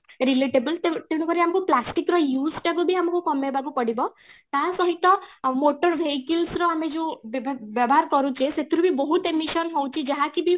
relatable ତେଣୁକରି ଆମକୁ plastic ର use ତାକୁ ବି କମେଇବାକୁ ପଡିବ ତା ସହିତ ଆଉ motor vehicles ର ଆମେ ଯୋଉ ବ୍ୟବହାର କରୁଛେ ସେଥିରୁ ବି ବହୁତ emission ହଉଛି ଯାହାକି ବି